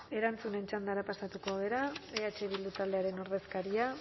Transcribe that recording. erantzunen txandara pasatuko gara eh bildu taldearen ordezkaria